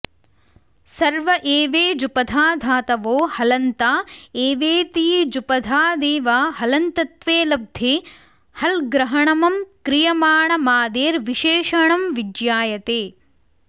सर्व एवेजुपधा धातवो हलन्ता एवेतीजुपधादेव हलन्तत्वे लब्धे हल्ग्रहणमं क्रियमाणमादेर्विशेषणं विज्ञायते